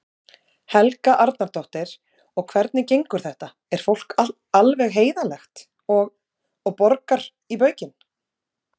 Helga Arnardóttir: Og hvernig gengur þetta, er fólk alveg heiðarlegt og, og borgar í baukinn?